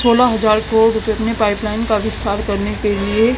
सोलह हजार को पाइपलाइन का विस्तार करने के लिए--